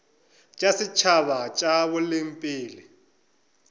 tša setšhaba tša boleng pele